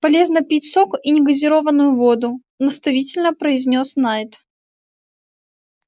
полезно пить сок и негазированную воду наставительно произнёс найд